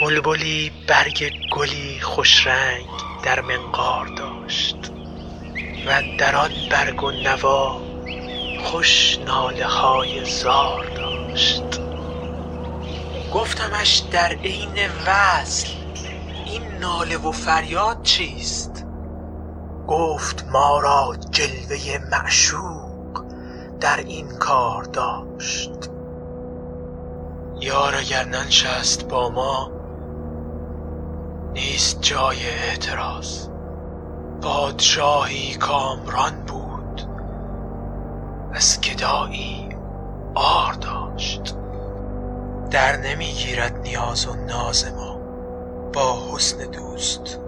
بلبلی برگ گلی خوش رنگ در منقار داشت و اندر آن برگ و نوا خوش ناله های زار داشت گفتمش در عین وصل این ناله و فریاد چیست گفت ما را جلوه ی معشوق در این کار داشت یار اگر ننشست با ما نیست جای اعتراض پادشاهی کامران بود از گدایی عار داشت درنمی گیرد نیاز و ناز ما با حسن دوست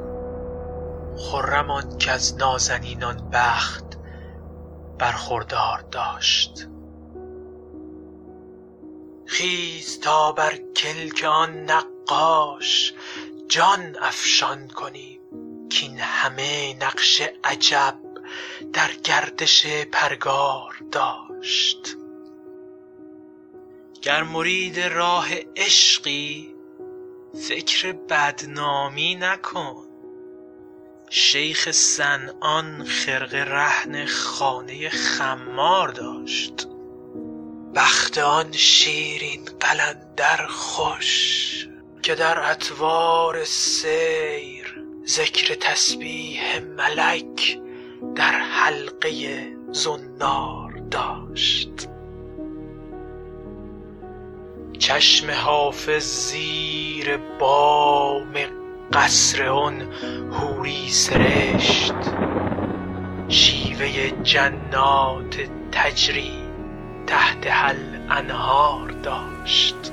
خرم آن کز نازنینان بخت برخوردار داشت خیز تا بر کلک آن نقاش جان افشان کنیم کاین همه نقش عجب در گردش پرگار داشت گر مرید راه عشقی فکر بدنامی مکن شیخ صنعان خرقه رهن خانه خمار داشت وقت آن شیرین قلندر خوش که در اطوار سیر ذکر تسبیح ملک در حلقه ی زنار داشت چشم حافظ زیر بام قصر آن حوری سرشت شیوه ی جنات تجری تحتها الانهار داشت